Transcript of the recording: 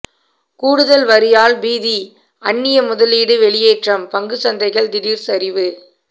கூடுதல் வரியால் பீதி அந்நிய முதலீடு வெளியேற்றம் பங்குச்சந்தைகள் திடீர் சரிவு